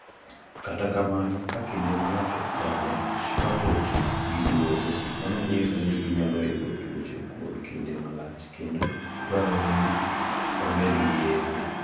Kata kamano, ka kinde malach okalo kapok giduogo, mano nyiso ni ginyalo yudo tuoche kuom kinde malach kendo dwarore ni omednegi yedhe.